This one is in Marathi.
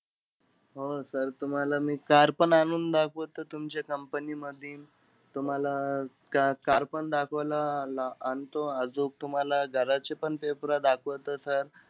हो sir तुम्हाला car पण आणून दाखवतो तुमच्या company मधी. तुम्हाला अं car पण दाखवायला आ आणतो. आजूक, तुम्हाला घराचे पण paper दाखवतो sir.